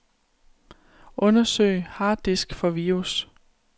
Undersøg harddisk for virus.